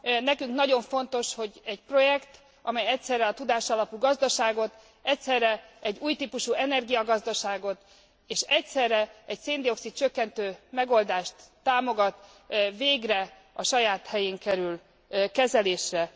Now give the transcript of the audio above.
Nekünk nagyon fontos, hogy egy projekt, amely egyszerre a tudásalapú gazdaságot, egyszerre egy új típusú energiagazdaságot és egyszerre egy szén dioxid csökkentő megoldást támogat, végre a saját helyén kerül kezelésre.